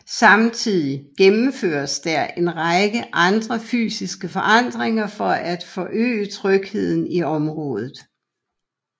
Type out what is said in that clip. Samtidig gennemføres der en række andre fysiske forandringer for at forøge trygheden i området